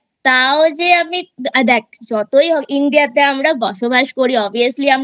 তাও যে আমি দেখ যতই হোক India তে আমরা বসবাস করি Obviously